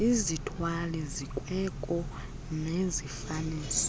izithwali zikweko nezifaniso